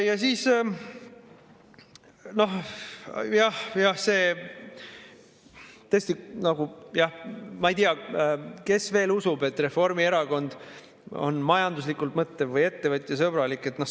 Ja siis, tõesti, ma ei tea, kes veel usub, et Reformierakond on majanduslikult mõtlev või ettevõtjasõbralik.